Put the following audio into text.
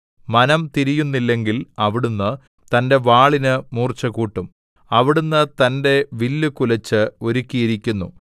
മനം തിരിയുന്നില്ലെങ്കിൽ അവിടുന്ന് തന്റെ വാളിന് മൂർച്ചകൂട്ടും അവിടുന്ന് തന്റെ വില്ലു കുലച്ച് ഒരുക്കിയിരിക്കുന്നു